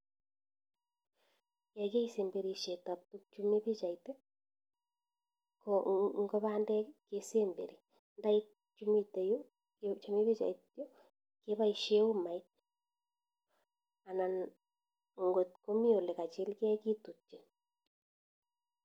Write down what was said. Ye kiit semberishet ab tukchu mi pichait, ko ngo bandek kesemberi ntaik chumite yu kebaishe umait anan kotkomi olekachilkee kitutchin.